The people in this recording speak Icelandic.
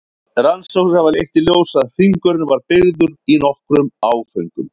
Rannsóknir hafa leitt í ljós að hringurinn var byggður í nokkrum áföngum.